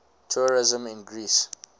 tourism in greece